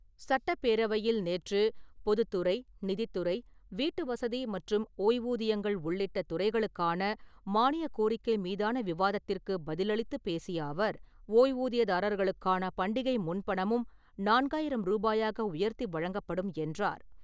சட்டப்பேரவையில் நேற்று பொதுத்துறை, நிதித்துறை, வீட்டு வசதி மற்றும் ஓய்வூதியங்கள் உள்ளிட்ட துறைகளுக்கான மானியக் கோரிக்கை மீதான விவாதத்திற்குப் பதிலளித்துப் பேசிய அவர், ஓய்வூதியதாரர்களுக்கான பண்டிகை முன்பணமும் நான்காயிரம் ரூபாயாக உயர்த்தி வழங்கப்படும் என்றார்.